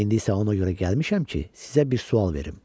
İndi isə ona görə gəlmişəm ki, sizə bir sual verim.